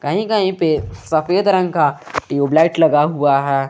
कहीं कहीं पे सफेद रंग का ट्यूबलाइट लगा हुआ है।